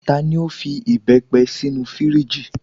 Tani o fi ìbepé sinu firiji?